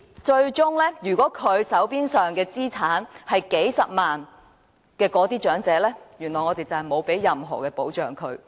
最終，手邊有數十萬元資產的長者，原來並無任何保障。